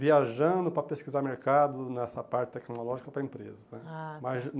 Viajando para pesquisar mercado nessa parte tecnológica para a empresa né. Ah tá